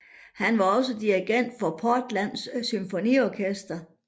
Han var også dirigent for Portland Symfoniorkester